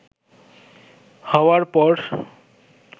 হওয়ার পর